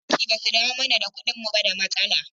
Idan bankin ba su dawo mani da kuɗina ba da matsala.